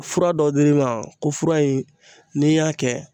Fura dɔ dir'i ma ko fura in n'i y'a kɛ